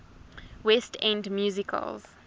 west end musicals